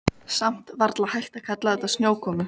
Við vorum aldrei partur af leiknum.